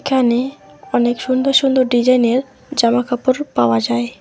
এখানে অনেক সুন্দর সুন্দর ডিজাইনের জামাকাপড় পাওয়া যায়।